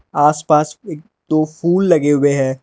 आसपास एक दो फूल लगे हुए हैं।